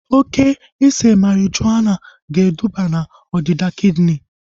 Oke ise marijuana ga eduba na ọdịda kidini